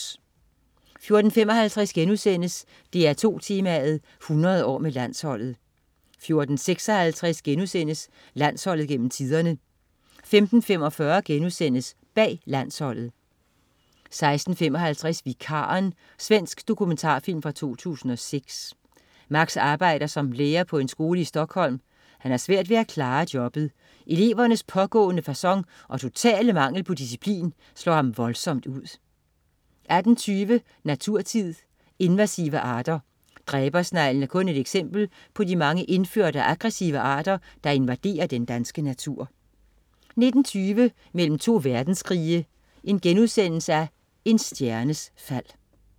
14.55 DR2 Tema: 100 år med Landsholdet* 14.56 Landsholdet gennem tiderne* 15.45 Bag landsholdet* 16.55 Vikaren. Svensk dokumentarfilm fra 2006. Max arbejder som lærer på en skole i Stockholm. Han har svært ved at klare jobbet. Elevernes pågående facon og totale mangel på disciplin slår ham voldsomt ud 18.20 Naturtid. Invasive arter. Dræbersneglen er kun et eksempel på de mange indførte og aggressive arter, der invaderer den danske natur 19.20 Mellem to verdenskrige. En stjernes fald*